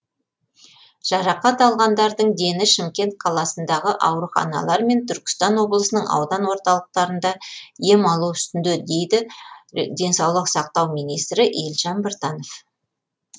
жарақат алғандардың дені шымкент қаласындағы ауруханалар мен түркістан облысының аудан орталықтарында ем алу үстінде дейді денсаулық сақтау министрі елжан біртанов